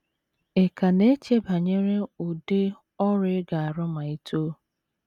Ị̀ ka na - eche banyere ụdị ọrụ ị ga - arụ ma i too?